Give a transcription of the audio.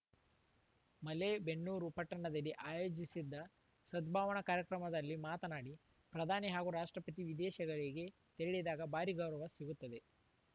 ಮಲೇಬೆನ್ನೂರು ಪಟ್ಟಣದಲ್ಲಿ ಆಯೋಜಿಸಿದ್ದ ಸದ್ಭಾವನಾ ಕಾರ್ಯಕ್ರಮದಲ್ಲಿ ಮಾತನಾಡಿ ಪ್ರಧಾನಿ ಹಾಗೂ ರಾಷ್ಟ್ರಪತಿ ವಿದೇಶಗಳಿಗೆ ತೆರಳಿದಾಗ ಭಾರೀ ಗೌರವ ಸಿಗುತ್ತದೆ